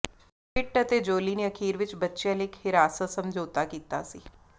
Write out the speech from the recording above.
ਪਿਟ ਅਤੇ ਜੋਲੀ ਨੇ ਅਖੀਰ ਵਿੱਚ ਬੱਚਿਆਂ ਲਈ ਇੱਕ ਹਿਰਾਸਤ ਸਮਝੌਤਾ ਕੀਤਾ ਸੀ